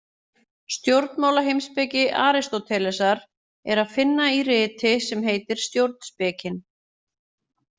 Stjórnmálaheimspeki Aristótelesar er að finna í riti sem heitir Stjórnspekin.